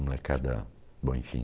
Molecada... Bom, enfim.